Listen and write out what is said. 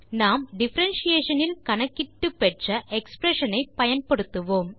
நாம் டிஃபரன்ஷியேஷன் இல் கணக்கிட்டு பெற்ற எக்ஸ்பிரஷன் ஐ பயன்படுத்துவோம்